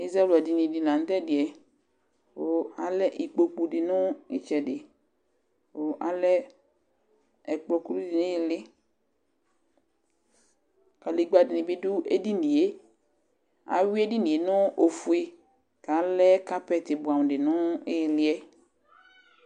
Ɛzawladini dɩ la tʋ ɛdɩ yɛ kʋ alɛ ikpoku dɩ nʋ ɩtsɛdɩ kʋ alɛ ɛkplɔ kulu dɩ nʋ ɩɩlɩ, kadegbǝ dɩnɩ bɩ dʋ edini yɛ Ayʋɩ edini yɛ nʋ ofue kʋ alɛ kapɛtɩ bʋɛamʋ dɩ nʋ ɩɩlɩ yɛ